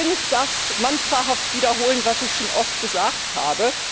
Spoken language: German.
Ich will nicht das mantrahaft wiederholen, was ich schon oft gesagt habe.